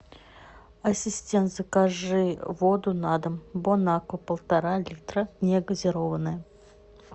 ассистент закажи воду на дом бон аква полтора литра негазированная